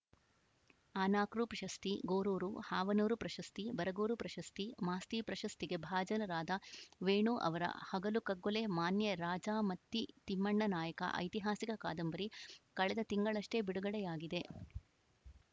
ಅನಕೃ ಪ್ರಶಸ್ತಿ ಗೋರೂರು ಹಾವನೂರು ಪ್ರಶಸ್ತಿ ಬರಗೂರು ಪ್ರಶಸ್ತಿ ಮಾಸ್ತಿ ಪ್ರಶಸ್ತಿಗೆ ಭಾಜನರಾದ ವೇಣು ಅವರ ಹಗಲು ಕಗ್ಗೊಲೆ ಮಾನ್ಯ ರಾಜಾ ಮತ್ತಿ ತಿಮ್ಮಣ್ಣನಾಯಕ ಐತಿಹಾಸಿಕ ಕಾದಂಬರಿ ಕಳೆದ ತಿಂಗಳಷ್ಟೆಬಿಡುಗಡೆಯಾಗಿದೆ